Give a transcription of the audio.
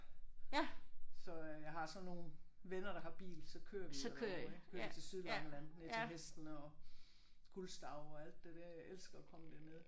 Så øh jeg har sådan nogle venner der har bil så kører vi derover ik? Så kører vi ned til Sydlangeland ned til hestene og Gulstav og alt det der. Jeg elsker at komme derned